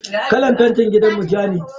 Kalan fentin gidanmu ja ne.